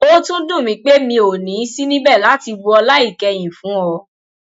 ó tún dùn mí pé mi ò ní í sí níbẹ láti bu ọlá ìkẹyìn fún ọ